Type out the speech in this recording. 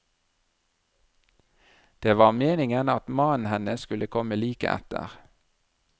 Det var meningen at mannen hennes skulle komme like etter.